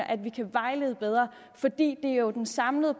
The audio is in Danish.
at vi kan vejlede bedre for det er jo den samlede